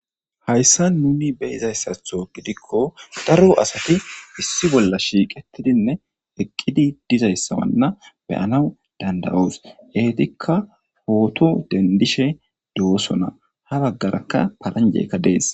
Haysan nuuni beyishe dizaysi keehippe daro asati issippe shiiqidi eqqidi dizaysa beyoos guusako .Eetika photo dendishe deetees. Ha bagaraka halande dees.